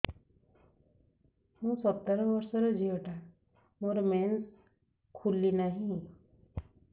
ମୁ ସତର ବର୍ଷର ଝିଅ ଟା ମୋର ମେନ୍ସେସ ଖୁଲି ନାହିଁ